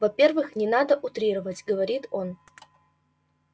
во-первых не надо утрировать говорит он